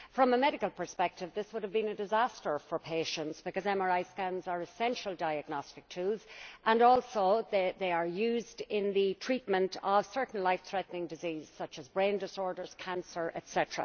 From the medical perspective, this would have been a disaster for patients because MRI scans are essential diagnostic tools and they are used in the treatment of certain life threatening diseases such as brain disorders, cancer, etc.